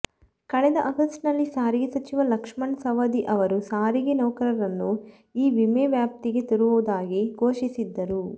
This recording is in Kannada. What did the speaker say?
ಕಳೆದ ಆಗಸ್ಟ್ನಲ್ಲಿ ಸಾರಿಗೆ ಸಚಿವ ಲಕ್ಷ್ಮಣ ಸವದಿ ಅವರು ಸಾರಿಗೆ ನೌಕರರನ್ನು ಈ ವಿಮೆ ವ್ಯಾಪ್ತಿಗೆ ತರುವುದಾಗಿ ಘೋಷಿಸಿದ್ದರು